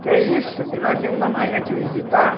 Que isso, que nós íamos na Marinha te visitar.